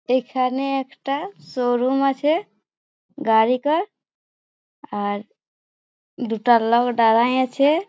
এখানে একটা শোরুম আছে গারিকার আর দুটা লোক দাঁড়ায় আছে--